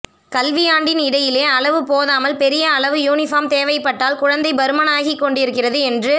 கல்விஆண்டின் இடையிலேயே அளவு போதாமல் பெரிய அளவு யூனிபார்ம் தேவைப்பட்டால் குழந்தை பருமனாகிக் கொண்டிருக்கிறது என்று